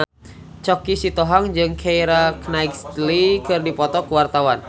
Choky Sitohang jeung Keira Knightley keur dipoto ku wartawan